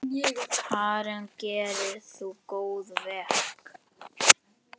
Karen: Gerir þú góðverk?